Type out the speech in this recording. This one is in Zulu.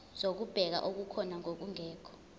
zokubheka okukhona nokungekho